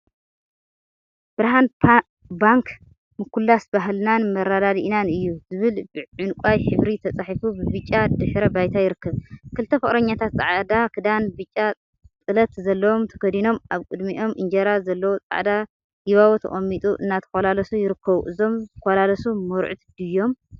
ብርሃን ባንክ፣ ምኩላስ ባህልናን መረዳዲኢናን እዩ! ዝብሉ ብዕንቋይ ሕብሪ ተፃሒፉ ብብጫ ድሕረ ባይታ ይርከብ፡፡ ክልተ ፍቅረኛታት ፃዕዳ ክዳን ብጫ ጥለት ዘለዎ ተከዲኖም አብ ቅድሚኦም እንጀራ ዘለዎ ፃዕዳ ጊባቦ ተቀሚጡ እናተኮላለሱ ይርኩበ፡፡ እዞም ዝኮላለሱ መርዑት ድዮም?